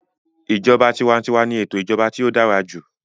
Ìjọba tiwantiwa ni ètò ìjọba tí ó dára jù